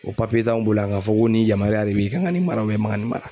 O t'anw bolo yan ka fɔ ko nin yamariya de b'i kan ka nin mara i man ka nin mara.